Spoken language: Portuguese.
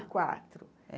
E quatro.